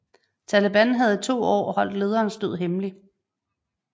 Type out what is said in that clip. Taliban havde i to år holdt lederens død hemmelig